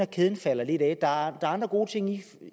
kæden falder lidt af der er andre gode ting i det